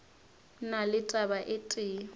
na le taba e tee